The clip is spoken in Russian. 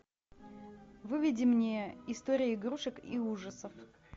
выведи мне история игрушек и ужасов